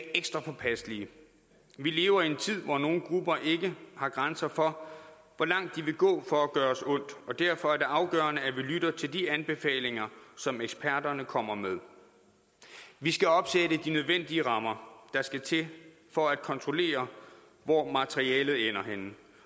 ekstra påpasselige vi lever i en tid hvor nogle grupper ikke har grænser for hvor langt de vil gå for at gøre os ondt og derfor er det afgørende at vi lytter til de anbefalinger som eksperterne kommer med vi skal opsætte de nødvendige rammer der skal til for at kontrollere hvor materialet ender henne